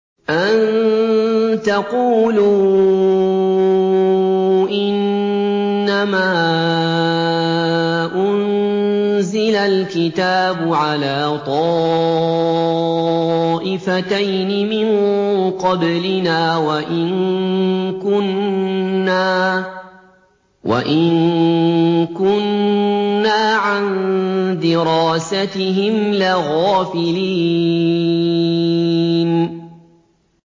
أَن تَقُولُوا إِنَّمَا أُنزِلَ الْكِتَابُ عَلَىٰ طَائِفَتَيْنِ مِن قَبْلِنَا وَإِن كُنَّا عَن دِرَاسَتِهِمْ لَغَافِلِينَ